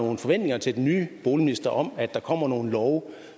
nogle forventninger til den nye boligminister om at der kommer nogle love